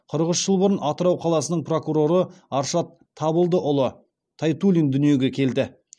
қырық үш жыл бұрын атырау қаласының прокуроры аршат табылдыұлы тайтуллин дүниеге келді